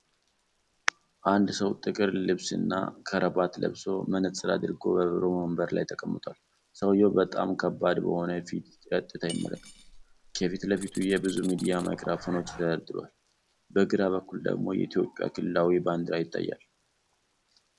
አንድ ሰው ጥቁር ልብስና ክራባት ለብሶ፣ መነፅር አድርጎ በቢሮ ወንበር ላይ ተቀምጧል። ሰውየው በጣም ከባድ በሆነ ፊት ቀጥታ ይመለከታል። ከፊት ለፊቱ የብዙ ሚዲያ ማይክሮፎኖች ተደርድረዋል፣ በግራ በኩል ደግሞ የኢትዮጵያ ክልላዊ ባንዲራ ይታያል።